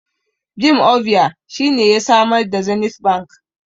Jim Ovia shine ya samar da Zenith bank